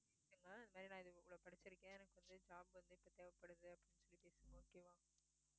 நான் இது இவ்வளவு படிச்சிருக்கேன் எனக்கு வந்து job வந்து இப்போ தேவைப்படுது அப்படினு சொல்லி பேசுங்க okay வா